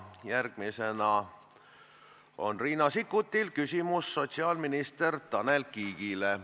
Järgmisena on Riina Sikkutil küsimus sotsiaalminister Tanel Kiigele.